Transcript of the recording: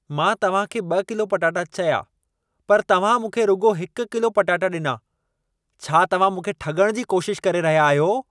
मां तव्हां खे 2 किलो पटाटा चया पर तव्हां मूंखे रुॻो 1 किलो पटाटा ॾिना। छा तव्हां मूंखे ठॻण जी कोशिश करे रहिया आहियो?